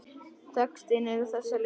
Textinn er á þessa leið